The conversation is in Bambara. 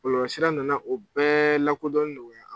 Bɔlɔlɔsira nana o bɛɛ lakodɔnni nɔgɔya